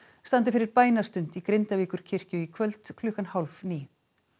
standi fyrir bænastund í Grindavíkurkirkju í kvöld klukkan hálf níu